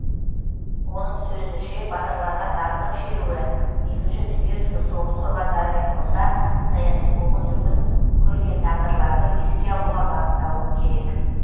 оның сөзінше батырларға тағзым шеруі екінші дүниежүзілік соғыс құрбандарымен қоса саяси қуғын сүргін көрген тағдырларды еске алуға бағытталуы керек